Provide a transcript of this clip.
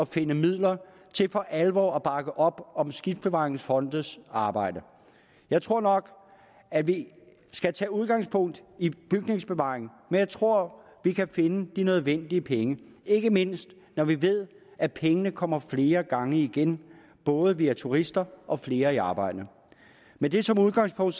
finde midler til for alvor at bakke op om skibsbevaringsfondes arbejde jeg tror nok at vi skal tage udgangspunkt i bygningsbevaring men jeg tror at vi kan finde de nødvendige penge ikke mindst når vi ved at pengene kommer flere gange igen både via turister og flere i arbejde med det som udgangspunkt